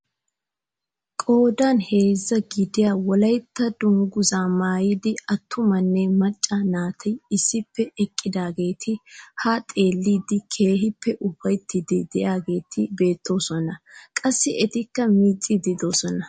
Qoodan heezzaa gidiyaa wolaytta dunguzaa maayida attumanne macca naati issippe eqqidaageti ha xeelliidi keehippe ufayttiidi de'iyaageti beettosona. qassi etikka miicciidi de'oosona.